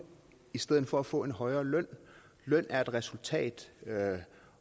i stedet for at få en højere løn løn er et resultat